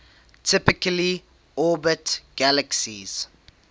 typically orbit galaxies